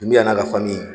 Tun bɛ yan'a ka fani